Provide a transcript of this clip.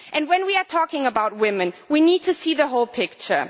When we talk about women, we need to see the whole picture.